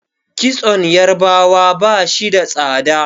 kitson yarabawa ba shi da tsada